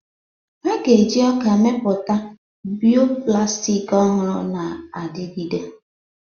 A ga-eji ọka mepụta bioplastics ọhụrụ na-adigide.